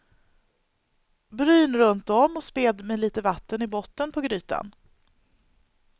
Bryn runt om och späd med lite vatten i botten på grytan.